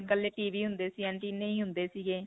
ਕੱਲੇ TV ਹੁੰਦੇ ਸੀ, ਅਨਟੀਨੇ ਹੀ ਹੁੰਦੇ ਸੀਗੇ.